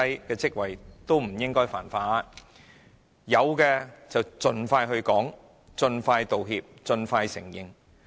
她是否應該表明如有犯錯，理應盡快說明，盡快道歉，盡快承認？